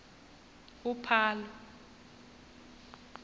uphalo